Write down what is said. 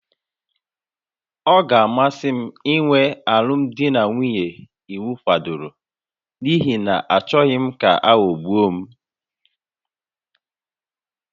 Ọ ga-amasị m inwe alụmdi na nwunye iwu kwadoro n'ihi na achọghị m ka aghọgbuo m